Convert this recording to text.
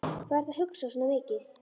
Hvað ertu að hugsa svona mikið?